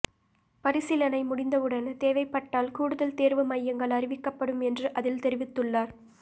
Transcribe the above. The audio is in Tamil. பரிசீலனை முடிந்தவுடன் தேவைப்பட்டால் கூடுதல் தோ்வு மையங்கள் அறிவிக்கப்படும் என்று அதில் தெரிவித்துள்ளாா்